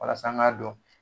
Walasa an ŋ'a dɔn